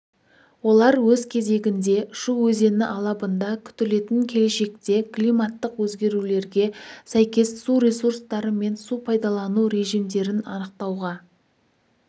олар өз кезегінде шу өзені алабында күтілетін келешекте климаттық өзгерулерге сәйкес су ресурстары мен су пайдалану режимдерін анықтауға